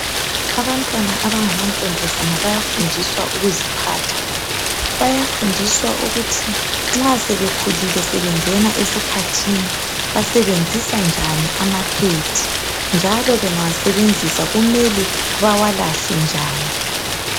Abantwana abangamantombazana bayafundiswa ukuziphatha. Bayafundiswa ukuthi nxa sebekhulile sebengena esikhathini basebenzisa njani amaphedi njalo bawalahla njani.